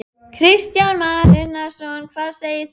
Kristján Már Unnarsson: Hvað segir þú?